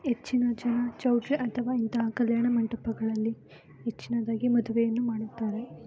ಹೆಚ್ಚಿನ ಜನ ಚೌಟ್ರಿ ಅಥವಾ ಇಂತಹ ಕಲ್ಯಾಣ ಮಂಟಪಗಳಲ್ಲಿ ಹೆಚ್ಚಿನದಾಗಿ ಮದುವೆಯನ್ನು ಮಾಡುತ್ತಾರೆ.